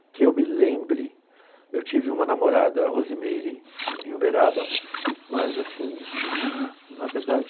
que eu me lembre, eu tive uma namorada, a Rosimeire, em Uberaba, mas assim, na verdade...